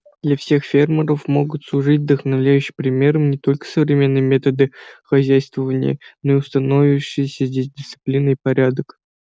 для всех фермеров могут служить вдохновляющим примером не только современные методы хозяйствования но и установившиеся здесь дисциплина и порядок